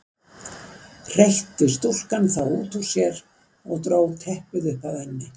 hreytti stúlkan þá út úr sér og dró teppið upp að enni.